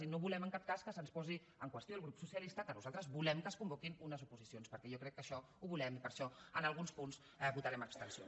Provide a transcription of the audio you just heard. i no volem en cap cas que se’ns posi en qüestió al grup socialista que nosaltres volem que es convoquin unes oposicions perquè jo crec que això ho volem i per això en alguns punts votarem abstenció